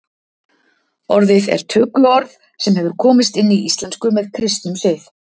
Orðið er tökuorð sem hefur komist inn í íslensku með kristnum sið.